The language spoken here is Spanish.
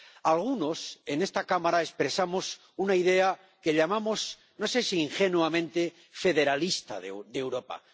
Algunos en esta Cámara expresamos una idea que llamamos, no sé si ingenuamente, federalista de Europa.